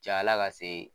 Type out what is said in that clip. Cayala ka se